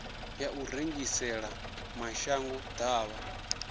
ya u rengisela mashango ḓavha